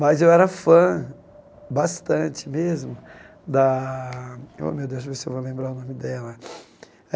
Mas eu era fã bastante mesmo da... Oh meu Deus, deixa eu ver se eu vou lembrar o nome dela.